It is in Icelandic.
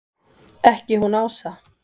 Ekki hún Ása!